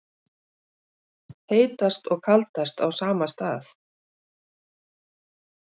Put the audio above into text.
Heitast og kaldast á sama stað